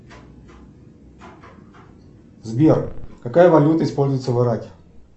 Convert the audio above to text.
сбер какая валюта используется в ираке